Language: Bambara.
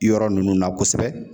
Yɔrɔ ninnu na kosɛbɛ